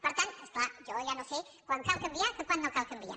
per tant és clar jo ja no sé quan cal canviar i quan no cal canviar